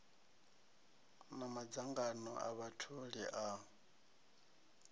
na madzangano a vhatholi a